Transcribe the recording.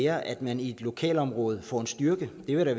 at man i et lokalområde får en styrke det vil da